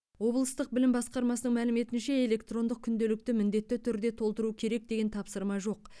облыстық білім басқармасының мәліметінше электрондық күнделікті міндетті түрде толтыру керек деген тапсырма жоқ